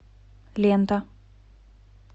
лента